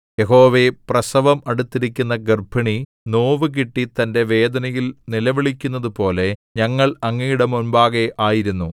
യഹോവേ പ്രസവം അടുത്തിരിക്കുന്ന ഗർഭിണി നോവുകിട്ടി തന്റെ വേദനയിൽ നിലവിളിക്കുന്നതുപോലെ ഞങ്ങൾ അങ്ങയുടെ മുമ്പാകെ ആയിരുന്നു